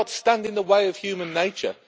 Let's not stand in the way of human nature.